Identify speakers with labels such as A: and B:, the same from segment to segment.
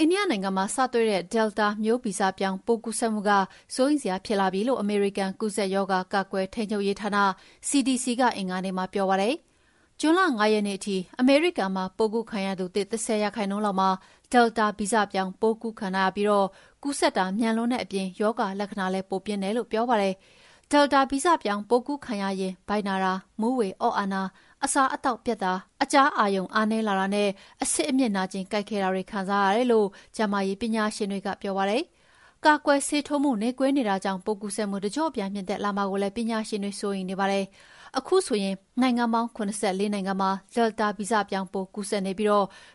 A: အိန္ဒိယနိုင်ငံမှာစတွေ့တဲ့ Delta မျိုးဗီဇပြောင်းပိုးကူးစက်မှုက စိုးရိမ်စရာဖြစ်လာပြီလို့ အမေရိကန်ကူးစက်ရောဂါ ကာကွယ်ထိန်းချုပ်ရေးဌာန CDC ကအင်္ဂါနေ့မှာပြောပါတယ်။ ဂျွန်လ ၅ ရက်နေ့ထိ အမေရိကန်မှာပိုးကူးခံရသူသစ် ၁၀ ရာခိုင်နှုန်းလောက်မှာ Delta ဗီဇပြောင်းပိုးခံထားရပြီး ကူးစက်တာ မြန်လွန်းတဲ့အပြင် ရောဂါလက္ခဏာလည်း ပိုပြင်းတယ်လို့ဆိုပါတယ်။ Delta ဗီဇပြောင်းပိုးကူးခံရရင် ဗိုက်နာတာ၊ မူးဝေအော့အန်တာ၊ အစားအသောက်ပျက်တာ၊ အကြားအာရုံအားနည်းလာတာနဲ့ အဆစ်အမြစ်နာကျင်ကိုက်ခဲတာတွေခံစားရတယ်လို့ ကျန်းမာရေးပညာရှင်တွေကပြောပါတယ်။ ကာကွယ်ဆေးထိုးမှုနှေးကွေးနေတာကြောင့် ပိုးကူးစက်မှုတကျော့ပြန်မြင့်တက်လာမှာကိုလည်း ပညာရှင်တွေစိုးရိမ်နေပါတယ်။ ခုဆိုရင် နိုင်ငံပေါင်း ၇၄ နိုင်ငံမှာ Delta ဗီဇပြောင်းပိုးကူးစက်နေပြီး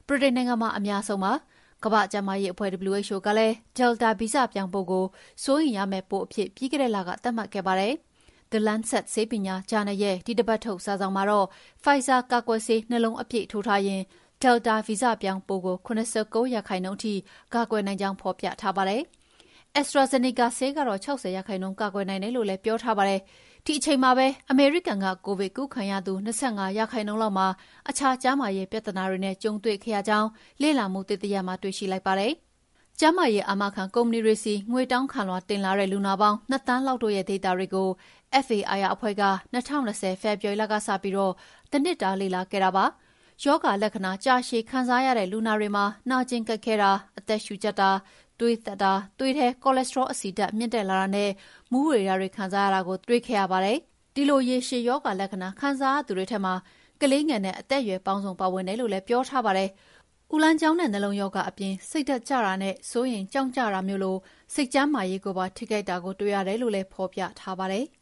A: ဗြိတိန်နိုင်ငံမှာ အများဆုံးကူးစက်နေပါတယ်။ ကမ္ဘာ့ကျန်းမာရေးအဖွဲ့ WHO ကလည်း Delta ဗီဇပြောင်းပိုးကို စိုးရိမ်ရမယ့်ပိုးအဖြစ် ပြီးခဲ့တဲ့လကသတ်မှတ်ခဲ့ပါတယ်။ The Lancet ဆေးပညာဂျာနယ်ရဲ့ဒီတပတ်ထုတ် စာစောင်မှာတော့ Pfizer ကာကွယ်ဆေး ၂ လုံးအပြည့်ထိုးထားရင် Delta ဗီဇပြောင်းပိုးကို ၇၉ ရာခိုင်နှုန်းထိကာကွယ်နိုင်ကြောင်း ဖော်ပြထားပါတယ်။ AstraZeneca ဆေးကတော့ ၆၀ ရာခိုင်နှုန်းကာကွယ်နိုင်တယ်လို့လည်းပြောထားပါတယ်။ ဒီအချိန်မှာပဲ အမေရိကန်က ကိုဗစ်ကူးခံရသူ ၂၅ ရာခိုင်နှုန်းလောက်မှာ အခြားကျန်းမာရေးပြဿနာတွေနဲ့ကြုံတွေ့ခဲ့ရကြောင့် လေ့လာမှုသစ်တရပ်မှာတွေ့ရှိလိုက်ပါတယ်။ကျန်းမာရေးအာမခံကုမ္ပဏီတွေဆီ ငွေတောင်းခံလွှာတင်လာတဲ့ လူနာပေါင်း ၂ သန်းလောက်တို့ရဲ့ဒေတာတွေကို FAIR အဖွဲ့က ၂၀၂၀ ဖေဖော်ဝါရီလကစပြီး တနှစ်တာလေ့လာခဲ့တာပါ။ ရောဂါလက္ခဏာကြာရှည်ခံစားရတဲ့လူနာတွေမှာ နာကျင်ကိုက်ခဲတာ၊ အသက်ရှုကြပ်တာ၊ သွေးတက်တာ၊ သွေးထဲ cholesterol အဆီဓာတ်မြင့်လာတာနဲ့ မူးဝေတာတွေခံစားရတာကိုတွေ့ရှိခဲ့ပါတယ်။ ဒီလိုရေရှည်ရောဂါလက္ခဏာကိုခံစားရသူတွေထဲမှာ ကလေးငယ်နဲ့ အသက်အရွယ်ပေါင်းစုံပါဝင်တယ်လို့လည်းပြောထားပါတယ်။ အူလမ်းကြောင်းနဲ့ နှလုံးရောဂါအပြင် စိတ်ကျတာနဲ့ စိုးရိမ်ကြောင့်ကျတာမျိုးလို စိတ်ကျန်းမာရေးကိုပါ ထိခိုက်တာကိုလည်းတွေ့ရတယ်လို့လည်း ဖော်ပြထားပါတယ်။